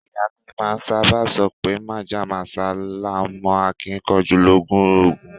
Iya mi maa saba sope Mojá mósá laa n mo akinkanju loju ogun